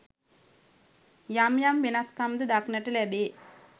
යම් යම් වෙනස්කම් ද දක්නට ලැබේ.